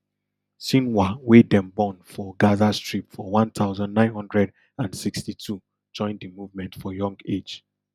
sinwar wey dem born for gaza strip for one thousand, nine hundred and sixty-two join di movement for young age